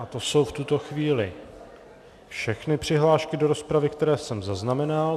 A to jsou v tuto chvíli všechny přihlášky do rozpravy, které jsem zaznamenal.